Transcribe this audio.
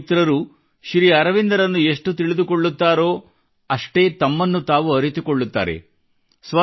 ನನ್ನ ಯುವ ಮಿತ್ರರು ಶ್ರೀ ಅರವಿಂದರನ್ನು ಎಷ್ಟು ತಿಳಿದುಕೊಳ್ಳುತ್ತಾರೋ ಅಷ್ಟೇ ತಮ್ಮನ್ನು ತಾವು ಅರಿತುಕೊಳ್ಳುತ್ತಾರೆ